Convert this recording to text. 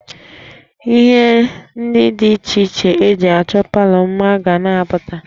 Ihe ndị dị iche iche e ji achọ palọ mma ga na-apụta